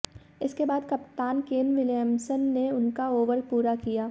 इसके बाद कप्तान केन विलियम्सन ने उनका ओवर पूरा किया